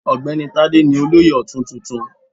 Ogbeni Tade ni Olóyè Otun tuntun.